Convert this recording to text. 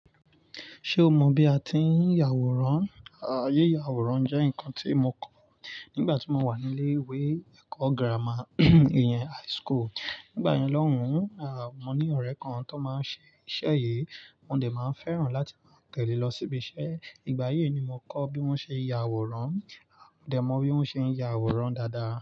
Ṣé o mọ bí a ti ń yàwòrán? Ayé yàwòrán jẹ́ nǹkan tí mo kọ́ nígbà tí mo wà ní ilé-ìwé ẹ̀kọ́ gírámà, yẹn high school. Nígbà yẹn lọ́hùn, à, mo ní ọ̀rẹ́ kan tó máa ń ṣe iṣẹ́ yìí, mo dẹ̀ máa ń fẹ́ràn láti máa tẹ̀lé lọ síbi iṣẹ́. Ìgbà yíì ni mo kọ́ bí wọ́n ṣe yàwòrán, mo dẹ̀ mọ bí wọ́n ṣe ń yàwòrán dáadáa.